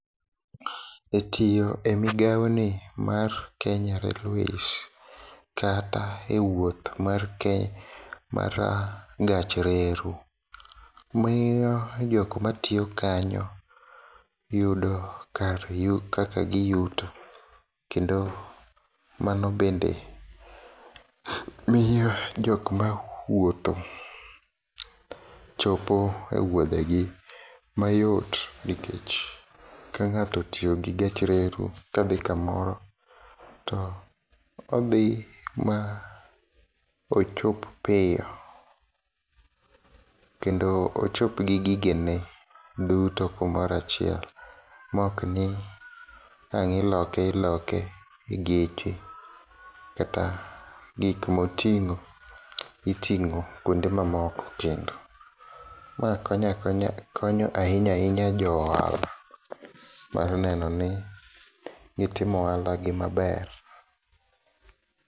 E tiyo e migaoni mar Kenya Railways, kata e wuoth mar ke mara gach reru, miyo jokma tiyo kanyo yudo kaka giyuto, kendo mano bende miyo jokma wuotho chopo e wuodhegi mayot, nikech ka ng'ato otiyogi gach reru kadhi kamoro to odhi maochop piyo, kendo ochop gi gigene duto kumora achiel, mokni ang' iloke iloke e geche, kata gik moting'o iting'o kuonde mamoko kendo. Ma konyo ahinya ahinya jo ohala mar nenoni gitimo ohalagi maber.